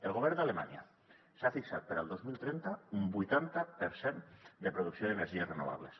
el govern d’alemanya s’ha fixat per al dos mil trenta un vuitanta per cent de producció d’energies renovables